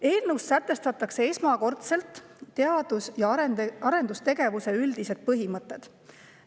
Eelnõus sätestatakse esmakordselt teadus‑ ja arendustegevuse üldised põhimõtted.